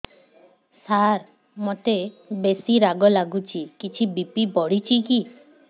ସାର ମୋତେ ବେସି ରାଗ ଲାଗୁଚି କିଛି ବି.ପି ବଢ଼ିଚି କି